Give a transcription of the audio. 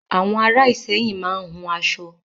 Àwọn ará Ìsẹ́yìn máa ń hun aṣọ.